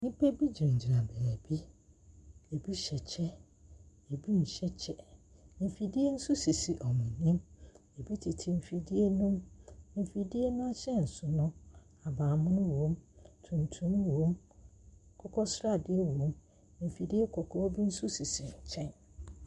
Nnipa bi gyinagyina beebi, bi hyɛ kyɛ, bi nhyɛ kyɛ, mfidie nso sisi wɔn anim, bi tete mfidie ne mu, mfidie no ahyɛnso no, ahabanmono wɔ mu, tuntum wɔ mu, akokɔsradeɛ wɔ mu, mfidie kɔkɔɔ bi nso sisi nkyɛn.